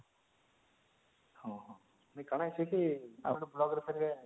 ହଁ ହଁ ମାନେ କଣ ହେଇଚି କି ଗୋଟେ ଗୋଟେ block ରେ ଫେରେ